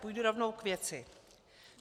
Půjdu rovnou k věci.